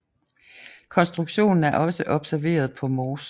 Konstruktionen er også observeret på Mors